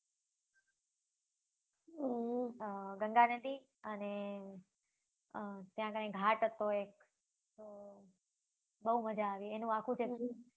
અમ ગંગા નદી અને ત્યાંં કાઈંક ઘાટ હતો એક બવ મજા આવી. એનું આખુ જે